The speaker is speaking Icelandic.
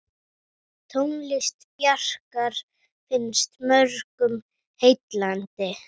Tónlist Bjarkar finnst mörgum heillandi.